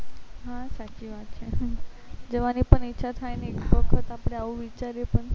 હા સાચી વાત છે જવાની પણ ઈચ્છા થાય ને એક વખત આપને આવું વિચારીએ પણ